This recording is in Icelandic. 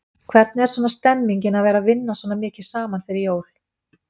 Hvernig er svona stemningin að vera vinna svona mikið saman fyrir jól?